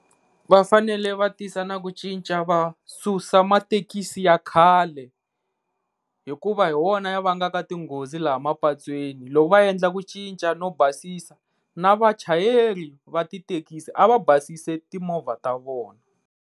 Va fanele va tisa na ku cinca va susa mathekisi ya khale, hikuva hi wona ya vangaka tinghozi laha mapatweni loko va endle ku cinca no basisa na vachayeri va ti thekisi a va basisi timovha ta vona.